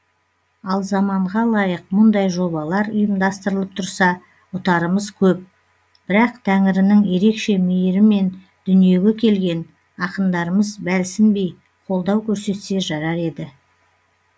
ал заманға лайық мұндай жобалар ұйымдастырылып тұрса ұтарымыз көп бірақ тәңірінің ерекше мейірімен дүниеге келген ақындарымыз бәлсінбей қолдау көрсетсе жарар еді